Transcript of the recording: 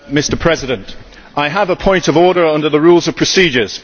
Mr President, I have a point of order under the Rules of Procedure.